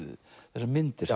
þessar myndir